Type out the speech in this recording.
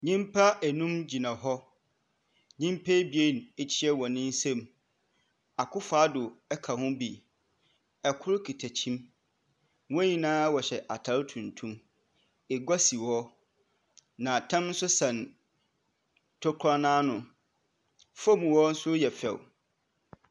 Nyimpa enum gyina hɔ. Nyimpa ebien ekyea hɔn nsam. Akoffo Adddo ka ho bi. ℇkor kita kyim. Hɔn nyinaa wɔhyɛ ataar tuntum. Egua si hɔ, na tam nso sɛn tokua n’ano. Fam hɔ nso yɛ fɛw.